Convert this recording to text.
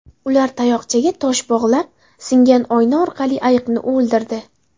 Ular tayoqchaga tosh bog‘lab, singan oyna orqali ayiqni o‘ldirdi.